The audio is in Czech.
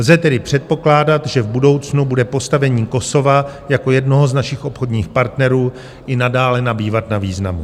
Lze tedy předpokládat, že v budoucnu bude postavení Kosova jako jednoho z našich obchodních partnerů i nadále nabývat na významu.